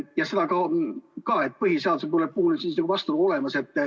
Ja seda ka, et põhiseaduse puhul vastuolu on olemas.